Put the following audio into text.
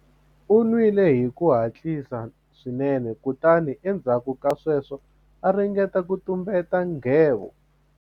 U nwile hi ku hatlisa swinene kutani endzhaku ka sweswo a ringeta ku tumbeta nghevo.